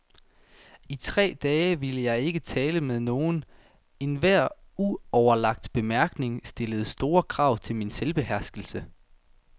I tre dage ville jeg ikke tale med nogen, enhver uoverlagt bemærkning stillede store krav til min selvbeherskelse.